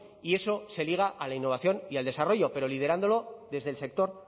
y eso se liga a la innovación y al desarrollo pero liderándolo desde el sector